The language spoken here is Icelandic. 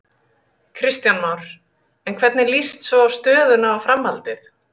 Kristján Már: En hvernig líst svo á stöðuna og framhaldið?